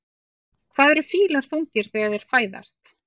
Hvað eru fílar þungir þegar þeir fæðast?